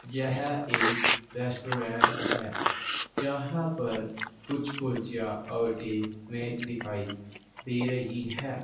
यह एक रेस्टोरेंट है जहां पर कुछ कुर्सियां और एक मेज दिखाई दे रही है।